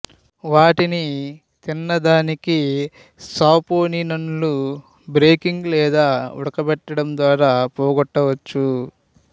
వాటిని తినదానికి సాపోనిన్లను బేకింగ్ లేదా ఉడకబెట్టడం ద్వారా పోగట్టవచ్చును